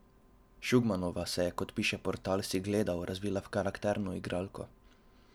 Šugmanova se je, kot piše portal Sigledal, razvila v karakterno igralko.